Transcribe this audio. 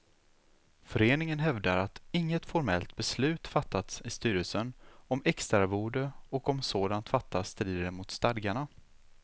Föreningen hävdar att inget formellt beslut fattats i styrelsen om extraarvode och om sådant fattats strider det mot stadgarna.